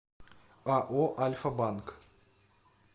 ао альфа банк